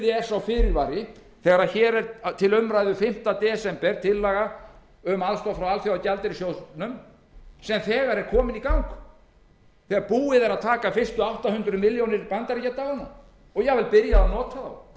er sá fyrirvari þegar hér er til umræðu fimmta desember tillaga um aðstoð frá alþjóðagjaldeyrissjóðnum sem þegar er komin í gang þegar búið er að taka fyrstu átta hundruð milljónir bandaríkjadalina og jafnvel byrjað að nota þá